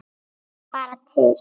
Ég hlakka bara til!